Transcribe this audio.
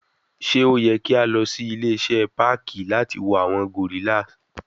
Ṣe o yẹ ki a lọ si ile-iṣẹ parki lati wo awọn gorrillas